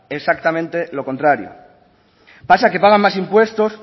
exactamente lo contrario pasa que pagan más impuestos